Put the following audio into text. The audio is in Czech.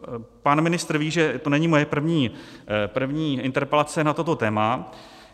Pan ministr ví, že to není moje první interpelace na toto téma.